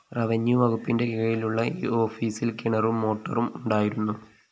revenue വകുപ്പിന്റെ കീഴിലുള്ള ഈ ഓഫീസില്‍ കിണറും മോട്ടോറും ഉണ്ടായിരുന്നു